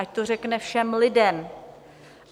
Ať to řekne všem lidem.